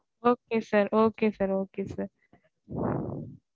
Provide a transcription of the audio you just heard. Okay sir okay sir okay